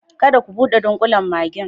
Kada ka bude dunkulen maggi'n.